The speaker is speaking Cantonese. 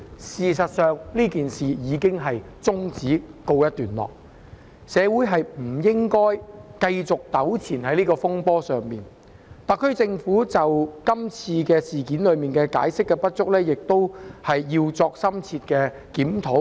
事實上，事件已終止並告一段落，社會不應繼續在這個風波上糾纏，特區政府在今次事件中解說工作不足，亦須作出深切檢討。